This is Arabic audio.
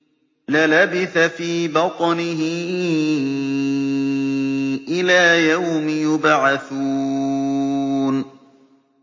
لَلَبِثَ فِي بَطْنِهِ إِلَىٰ يَوْمِ يُبْعَثُونَ